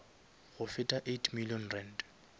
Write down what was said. go feta eight million rand